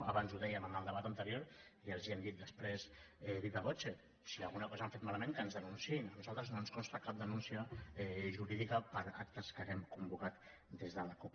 abans ho dèiem en el debat anterior i els ho hem dit després viva vocecosa hem fet malament que ens denunciïn a nosaltres no ens consta cap denúncia jurídica per actes que hàgim convocat des de la cup